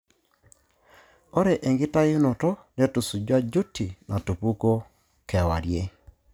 Ore enkitayunoto netusujua duty natupukuo kewarie.